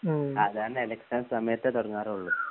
സാധാരണ ഇലക്ഷൻ സമയത്തെ തുടങ്ങാറുള്ളൂ